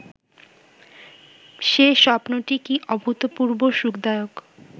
সে স্বপ্নটি কি অভূতপূর্ব্ব সুখদায়ক